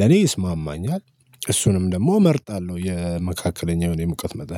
ለኔ ይስማማኛል እሱንም ደግሞ እመርጣለሁ የመካከለኛውን የሙቀት መጠን